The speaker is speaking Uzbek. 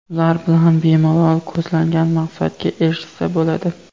Ular bilan bemalol ko‘zlangan maqsadga erishsa bo‘ladi.